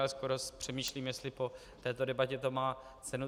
Ale skoro přemýšlím, jestli po této debatě to má cenu.